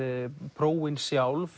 prófin sjálf